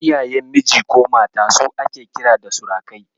Iyayen miji ko mata su ake kira da surukai.